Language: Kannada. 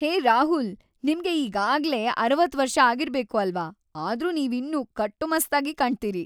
ಹೇ ರಾಹುಲ್, ನಿಮ್ಗೆ ಈಗಾಗ್ಲೇ ಅರವತ್ತು ವರ್ಷ ಆಗಿರ್ಬೇಕು ಅಲ್ವಾ, ಆದ್ರೂ ನೀವಿನ್ನೂ ಕಟ್ಟುಮಸ್ತಾಗಿ ಕಾಣ್ತೀರಿ.